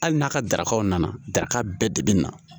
Hali n'a ka darakaw nana daga bɛɛ de bɛ na